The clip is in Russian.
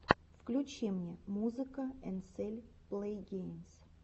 включи мне музыка энсель плэйгеймс